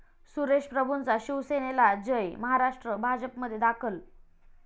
सुरेश प्रभूंचा शिवसेनाला 'जय महाराष्ट्र',भाजपमध्ये दाखल